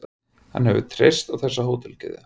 Hann hefur treyst á þessa hótelkeðju.